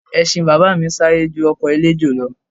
Ẹṣin bàbá mi ń sáré ju ọkọ̀ eléjò lọ